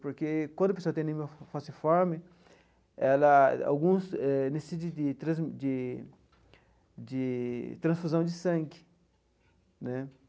Porque quando a pessoa tem a anemia falciforme, ela... alguns eh necessitam de de de de transfusão de sangue, né?